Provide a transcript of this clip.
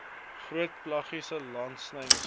groot pelagiese langlynvisvangs